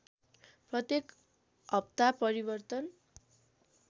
प्रत्येक हप्ता परिवर्तन